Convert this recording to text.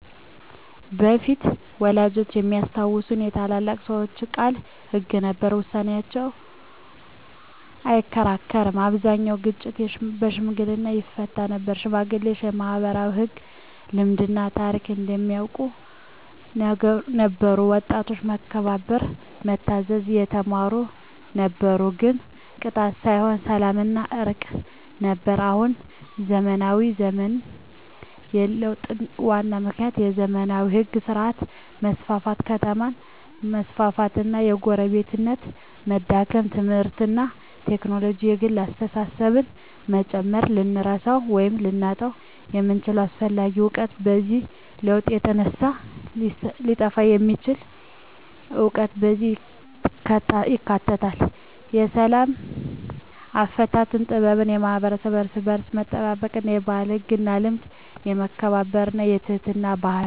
በፊት (ወላጆቻችን የሚያስታውሱት) የታላላቅ ሰዎች ቃል ሕግ ነበር፤ ውሳኔያቸው አይከራከርም አብዛኛውን ግጭት በሽምግልና ይፈታ ነበር ሽማግሌዎች ማኅበራዊ ሕግ፣ ልማድና ታሪክ የሚያውቁ ነበሩ ወጣቶች መከበርና መታዘዝ የተማሩ ነበሩ ግብ ቅጣት ሳይሆን ሰላምና እርቅ ነበር አሁን (ዘመናዊ ዘመን) የለውጡ ዋና ምክንያቶች የዘመናዊ ሕግ ሥርዓት መስፋፋት ከተማ መስፋፋት እና የጎረቤትነት መዳከም ትምህርትና ቴክኖሎጂ የግል አስተሳሰብን መጨመር ልንረሳው ወይም ልናጣው የምንችለው አስፈላጊ እውቀት ከዚህ ለውጥ የተነሳ ሊጠፋ የሚችል እውቀት እነዚህን ያካትታል፦ የሰላም አፈታት ጥበብ የማኅበረሰብ እርስ–በርስ መጠያየቅ የባህላዊ ሕግና ልማድ የክብርና የትሕትና ባህል